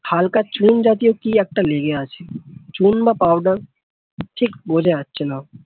হালকা চুল জাতীয় কি একটা লেগে আছে চুন বা powder ঠিক বোঝা যাচ্ছেনা